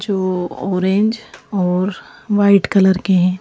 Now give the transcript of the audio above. जो ऑरेंज और white colour के हैं।